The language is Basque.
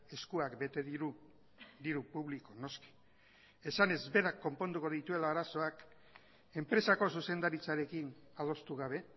eskuak bete diru diru publiko noski esanez berak konponduko dituela arazoak enpresako zuzendaritzarekin adostu gabe